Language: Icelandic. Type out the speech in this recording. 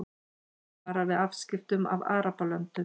Varar við afskiptum af Arabalöndum